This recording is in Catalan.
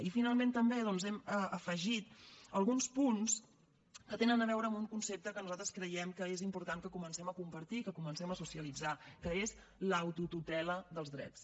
i finalment també doncs hem afegit alguns punts que tenen a veure amb un concepte que nosaltres creiem que és important que comencem a compartir que comencem a socialitzar que és l’autotutela dels drets